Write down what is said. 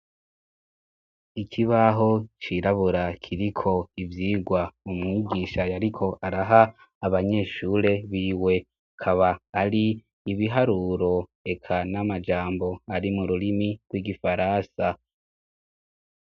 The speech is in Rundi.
Ikibaho cirabura kiriko ivyigwa umwigisha yariko araha abanyeshure biwe ,akaba ari ibiharuro eka n'amajambo ari mu rurimi rw'igifaransa.